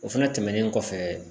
O fɛnɛ tɛmɛnen kɔfɛ